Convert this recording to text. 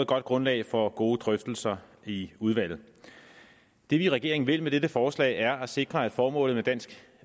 godt grundlag for gode drøftelser i udvalget det vi i regeringen vil med dette forslag er at sikre at formålet med dansk